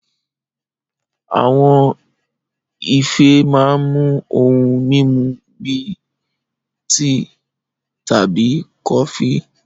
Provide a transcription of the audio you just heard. Àwọn ife máa ń mú ohun mímu bíi tíì tàbí kọfí